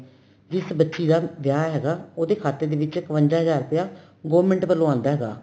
ਜਿਸ ਬੱਚੀ ਦਾ ਵਿਆਹ ਹੈਗਾ ਉਹਦੇ ਖਾਤੇ ਦੇ ਵਿੱਚ ਇਕਵੰਜਾ ਹਜਾਰ ਰੁਪਇਆ government ਵੱਲੋ ਆਂਦਾ ਹੈਗਾ